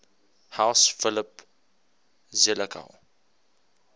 house philip zelikow